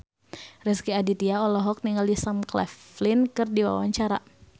Rezky Aditya olohok ningali Sam Claflin keur diwawancara